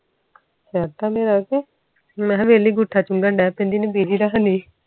ਸਰਦਾ ਪਿਉਂ ਕੇ ਮੈਂ ਵੇਹਲੀ ਗੂਠਾ ਚੁੰਗਾਂ ਦੇ ਪੈਂਦੀ ਆ ਹਨੁ ਬੂਸੀ ਰੱਖਦੇ ਆ